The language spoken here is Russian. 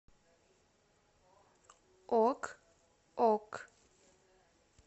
ок ок